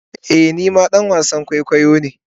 Ee ni ma dan wasan kwaikwayo ne.